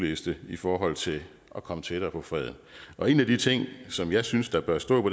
liste i forhold til at komme tættere på freden og en af de ting som jeg synes der bør stå på